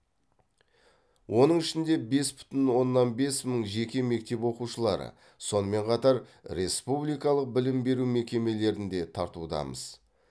оның ішінде бес бүтін оннан бес мың жеке мектеп оқушылары сонымен қатар республикалық білім беру мекемелерінде тартудамыз